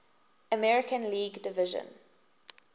american league division